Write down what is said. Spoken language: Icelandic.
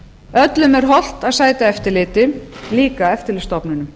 öllum er hollt að sæta eftirliti líka eftirlitsstofnunum